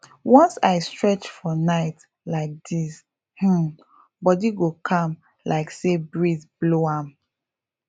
once i stretch for night like this um body go calm like say breeze blow am